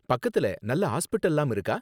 பக்கத்துல நல்ல ஹாஸ்பிடல்லாம் இருக்கா?